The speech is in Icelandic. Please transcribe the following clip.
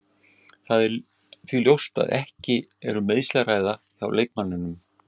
Það er því ljóst að ekki er um meiðsli að ræða hjá leikmanninum.